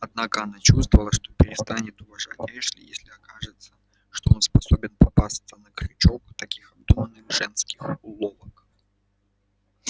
однако она чувствовала что перестанет уважать эшли если окажется что он способен попасться на крючок таких обдуманных женских уловок